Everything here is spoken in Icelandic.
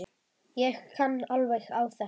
Ég kann alveg á þetta.